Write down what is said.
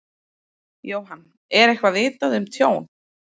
Jóhann: Eitthvað vitað um tjón?